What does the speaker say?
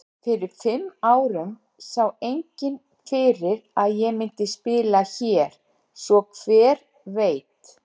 Fyrir fimm árum sá enginn fyrir að ég myndi spila hér. svo hver veit?